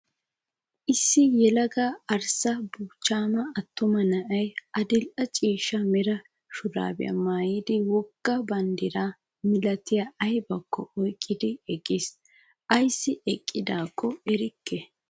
Issi yelaga arssa buuchchaama attuma na''ayi adil'e ciishsha mera shuraabiyaa maayyidi wogga banddira malatiya ayibakko oyiqqidi eqqis. Ayissi eqqidaakko erikke.